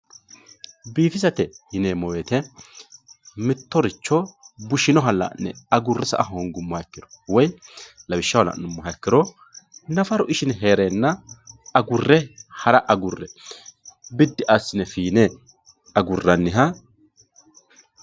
Bifisate yunemo woyitte mitoeicho bushinoha lane agure saa hingumoha ikiro woy lawishaho lanumoha ikiro nafaru ishine herena agure hara agure bidi asine fine aguraniha